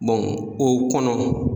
o kɔnɔ.